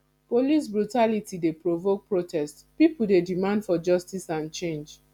police brutality dey provoke protest pipo dey demand for justice and change